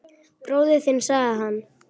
Bróðir þinn sagði hann.